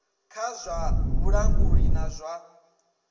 kha zwa vhulanguli na zwa